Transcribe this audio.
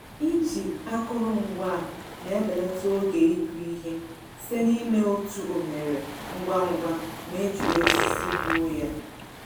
Iji akụrụngwa a na-ebelata oge ịkụ ihe site n'ime otu oghere ngwa ngwa ma e jiri osisi gwuo ya.